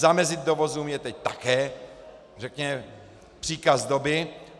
Zamezit dovozům je teď také řekněme příkaz doby.